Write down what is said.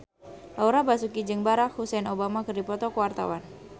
Laura Basuki jeung Barack Hussein Obama keur dipoto ku wartawan